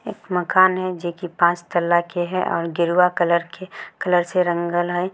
एक मकान है जे कि पांच तल्ला के हई और गेरुआ कलर से रंगल हई।